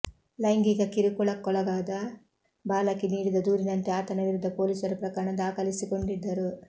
ಲೈಂಗಿಕ ಕಿರುಕುಳಕ್ಕೊಳಗಾದ ಬಾಲಕಿ ನೀಡಿದ ದೂರಿನಂತೆ ಆತನ ವಿರುದ್ಧ ಪೊಲೀಸರು ಪ್ರಕರಣ ದಾಖ ಲಿಸಿಕೊಂಡಿದ್ದರು